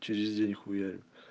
через день хуярю